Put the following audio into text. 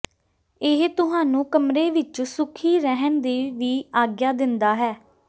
ਇਹ ਤੁਹਾਨੂੰ ਕਮਰੇ ਵਿਚ ਸੁਖੀ ਰਹਿਣ ਦੀ ਵੀ ਆਗਿਆ ਦਿੰਦਾ ਹੈ